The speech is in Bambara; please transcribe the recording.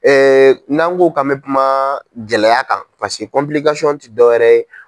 N'an ko k'an bɛ kuma gɛlɛya kan ti dɔwɛrɛ ye.